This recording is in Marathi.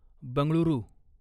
बंगळुरू